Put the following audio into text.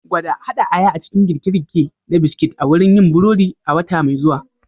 Gwada haɗa aya a cikin girke-girke na biskit a wurin yin burodi a wata mai zuwa.